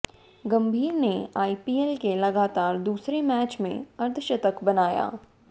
गंभीर ने आईपीएल के लगातार दूसरे मैच में अर्द्धशतक बनाया